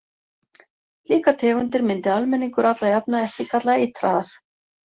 Slíkar tegundir myndi almenningur alla jafna ekki kalla eitraðar.